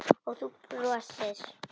Og þú brosir.